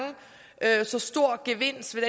så stor gevinst ved